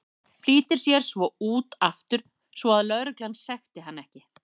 Flýtir sér svo út aftur svo að lögreglan sekti hann ekki.